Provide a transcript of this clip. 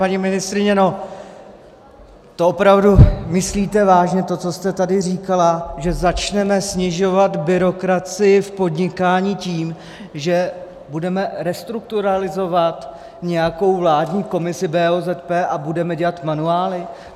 Paní ministryně, to opravdu myslíte vážně, to, co jste tady říkala, že začneme snižovat byrokracii v podnikání tím, že budeme restrukturalizovat nějakou vládní komisi BOZP a budeme dělat manuály?